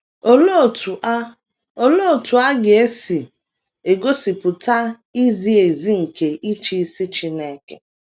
Olee otú a Olee otú a ga - esi egosipụta izi ezi nke ịchịisi Chineke?